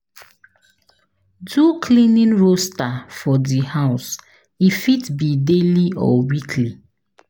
Do cleaning roaster for di house e fit be daily or weekly